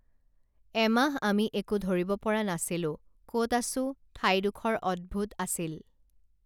এমাহ আমি একো ধৰিব পৰা নাছিলোঁ কত আছোঁ ঠাইডোখৰ অদ্ভুৎ আছিল